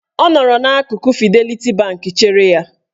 Ọ nọrọ n'akụkụ Fideliti Bank chere ya.